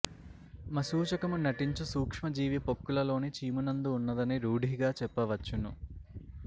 మశూచకము నంటించు సూక్ష్మ జీవి పొక్కులలోని చీమునందు ఉన్నదని రూఢిగా చెప్పవచ్చును